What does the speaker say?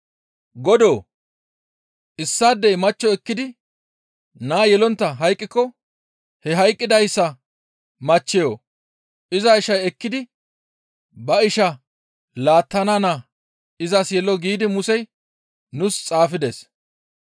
«Godoo! ‹Issaadey machcho ekkidi naa yelontta hayqqiko he hayqqidayssa machcheyo iza ishay ekkidi ba ishaa laattana naa izas yelo› giidi Musey nuus xaafides.